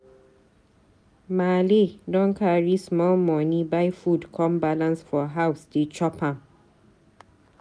Maale don carry small moni buy food come balance for house dey chop am.